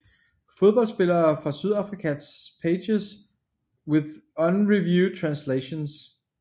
Fodboldspillere fra Sydafrika Pages with unreviewed translations